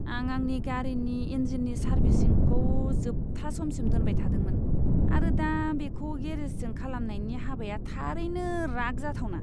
आं आंनि गारिनि इन्जिननि सार्भिसिंखौ जोबथा समसिम दोनबाय थादोंमोन, आरो दा बेखौ गेरेजजों खालामनायनि हाबाया थारैनो राग जाथावना!